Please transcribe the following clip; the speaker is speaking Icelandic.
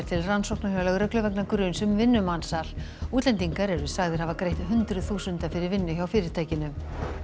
til rannsóknar hjá lögreglu vegna gruns um vinnumansal útlendingar eru sagðir hafa greitt hundruð þúsunda fyrir vinnu hjá fyrirtækinu